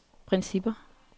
principper